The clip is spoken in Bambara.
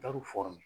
Taar'o